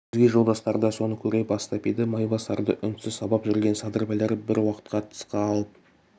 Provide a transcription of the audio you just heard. өзге жолдастары да соны көре бастап еді майбасарды үнсіз сабап жүрген садырбайлар бір уақытта тысқа алып